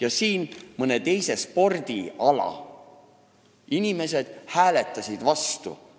Aga siin mõne teise spordiala inimesed hääletasid vastu.